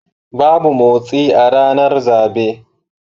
Babu motsi a ranar zabe.